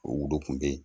O worokun be yen